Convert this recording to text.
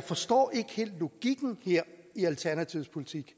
forstår logikken her i alternativets politik